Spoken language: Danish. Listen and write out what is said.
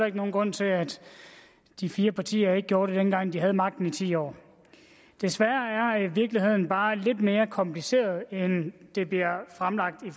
ikke nogen grund til at de fire partier ikke gjorde det dengang de havde magten i ti år desværre er virkeligheden bare lidt mere kompliceret end den bliver fremlagt i